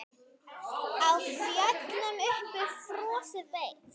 Á fjöllum uppi frostið beit.